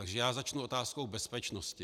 Takže já začnu otázkou bezpečnosti.